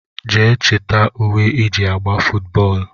Jee chita ùwé iji agba footu bóólú!!!